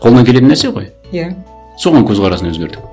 қолынан келетін нәрсе ғой иә соған көзқарасын өзгертіп